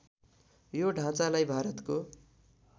यो ढाँचालाई भारतको